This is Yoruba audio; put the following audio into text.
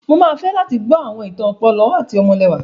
Mo máa fẹ́ láti gbọ́ àwọn ìtàn ọ̀pọ̀lọ́ àti ọmọlẹwà.